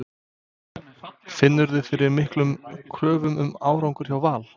Finnurðu fyrir miklum kröfum um árangur hjá Val?